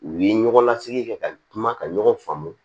U ye ɲɔgɔn lasigi kɛ ka kuma ka ɲɔgɔn faamu